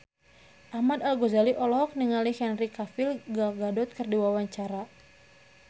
Ahmad Al-Ghazali olohok ningali Henry Cavill Gal Gadot keur diwawancara